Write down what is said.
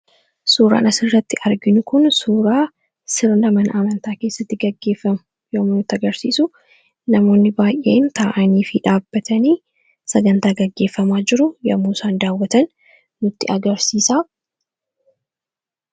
Suuraan asirratti arginu kun suuraa sirna amantaa keessatti gaggeeffamu yommuu agarsiisu namoonni baay'een taa'anii fi dhaabatanii sagantaa gaggeeffamaa jiru yomuusaan daawwatan nutti agarsiisaa.